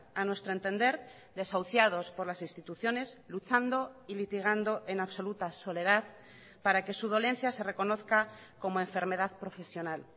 a nuestro entender desahuciados por las instituciones luchando y litigando en absoluta soledad para que su dolencia se reconozca como enfermedad profesional